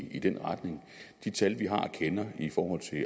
i den retning de tal vi har og kender i forhold til